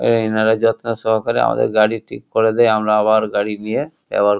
এ-এ এনারা যত্ন সহকারে আমাদের গাড়ি ঠিক করে দেয় আমরা আবার গাড়ি নিয়ে ব্যব --